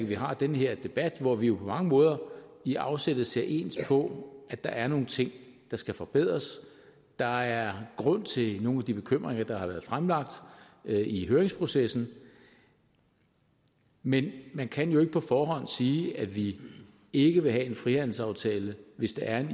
vi har den her debat hvor vi jo på mange måder i afsættet ser ens på at der er nogle ting der skal forbedres der er grund til nogle af de bekymringer der har været fremlagt i høringsprocessen men man kan jo ikke på forhånd sige at vi ikke vil have en frihandelsaftale hvis der er en